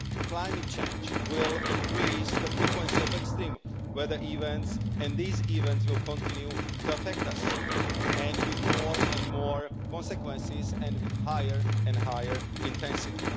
Climate change will increase the frequency of extreme weather events and these events will continue to affect us, and with more and more consequences and higher and higher intensity.